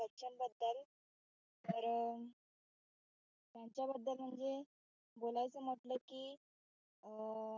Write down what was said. तर त्यांच्याबद्दल म्हणजे बोलायचं म्हटलं कि